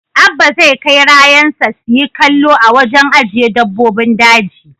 Abba zai kai rayansa su yi kallo a wajen aje dabbobin daji.